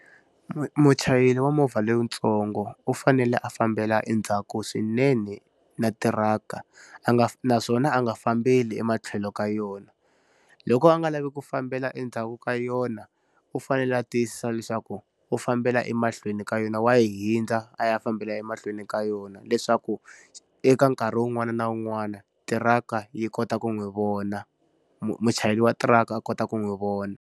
Muchayeri wa movha lowuntsongo u fanele a fambela endzhaku swinene na tiraka, a nga naswona a nga fambile ematlhelo ka yona. Loko a nga lavi ku fambela endzhaku ka yona, u fanele a tiyisisa leswaku u fambela emahlweni ka yona. Wa yi hundza a ya fambela emahlweni ka yona leswaku, eka nkarhi wun'wana na wun'wana tiraka yi kota ku n'wi vona, muchayeri wa tiraka a kota ku n'wi vona.